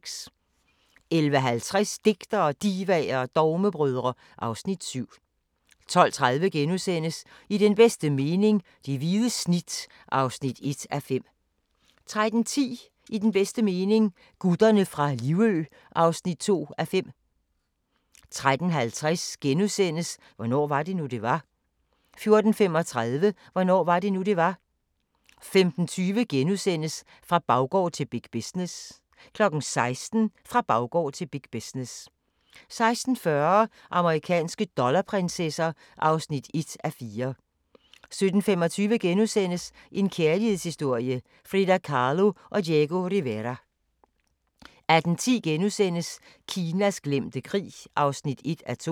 11:50: Digtere, Divaer og Dogmebrødre (Afs. 7) 12:30: I den bedste mening - det hvide snit (1:5)* 13:10: I den bedste mening – Gutterne fra Livø (2:5) 13:50: Hvornår var det nu, det var? * 14:35: Hvornår var det nu, det var? 15:20: Fra baggård til big business * 16:00: Fra baggård til big business 16:40: Amerikanske dollarprinsesser (1:4) 17:25: En kærlighedshistorie – Frida Kahlo & Diego Rivera * 18:10: Kinas glemte krig (1:2)*